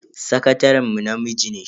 Sakataren mu namiji ne.